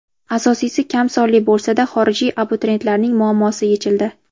Asosiysi kam sonli bo‘lsada xorijiy abituriyentlarning muammosi yechildi.